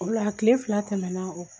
O la tile fila tɛmɛna o